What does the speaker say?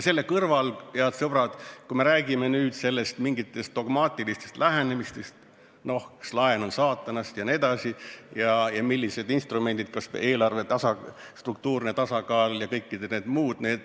Selle kõrval, head sõbrad, me räägime mingitest dogmaatilistest lähenemistest, et laen on saatanast ja millised on instrumendid, kas või eelarve struktuurne tasakaal ja kõik need muud.